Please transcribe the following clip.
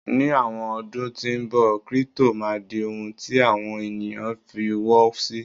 ní àwọn ọdún tí nbọ, crypto ma di ohun ti àwọn ènìyàn f'iwo sí